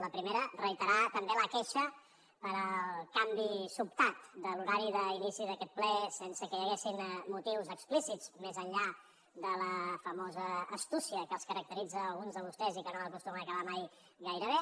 la primera reiterar també la queixa pel canvi sobtat de l’horari d’inici d’aquest ple sense que hi haguessin motius explícits més enllà de la famosa astúcia que els caracteritza a alguns de vostès i que no acostuma a acabar mai gaire bé